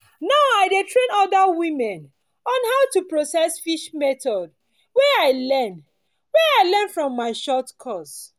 now i dey train other women on how to process fish method wey i learn wey i learn from my short course